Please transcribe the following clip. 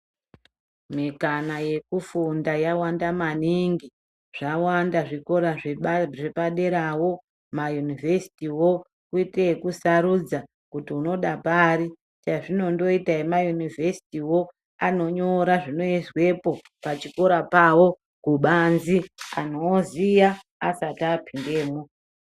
Mikana yekufunda yawanda maningi zvawanda zvikora zvepaderawo mayunivesitiwo woite ekusarudza kuti unoda pari chazvinondoita emayunivesitiwo anonyora zvinoizwepo pachikora pawo kubanzi anhu oziya asati apindemwo.